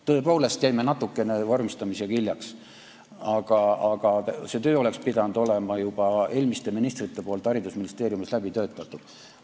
Tõepoolest jäime vormistamisega natuke hiljaks, aga see teema oleks pidanud olema juba eelmistel ministritel haridusministeeriumis läbi töötatud.